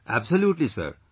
Absolutely Sir